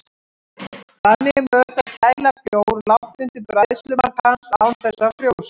Þannig er mögulegt að kæla bjór langt undir bræðslumark hans án þess að hann frjósi.